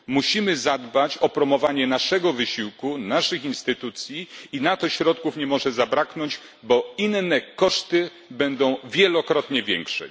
Musimy zadbać o promowanie naszego wysiłku, naszych instytucji, i na to środków nie może zabraknąć, bo inne koszty będą wielokrotnie większe.